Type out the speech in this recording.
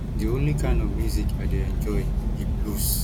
the only kin of music i dey enjoy be blues